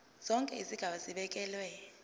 zonke izigaba zibekelwe